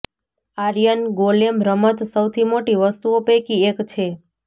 iron golem રમત સૌથી મોટી વસ્તુઓ પૈકી એક છે